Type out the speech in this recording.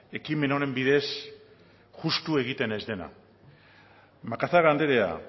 ekimen honen bidez justu egiten ez dena macazaga anderea